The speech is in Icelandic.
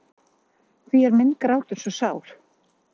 Hví er minn grátur svo sár?